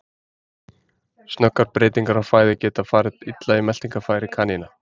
Snöggar breytingar á fæðu geta farið illa í meltingarfæri kanína.